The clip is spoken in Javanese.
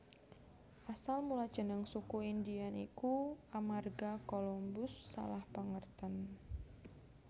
Asal mula jeneng Suku Indian iku amarga Colombus salah pangertèn